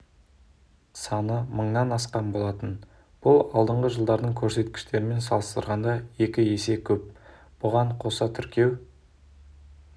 саны мыңнан асқан болатын бұл алдыңғы жылдардың көрсеткіштерімен салыстырғанда екі есе көп бұған қоса тіркеу